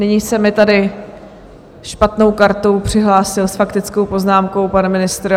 Nyní se mi tady špatnou kartou přihlásil s faktickou poznámkou pan ministr.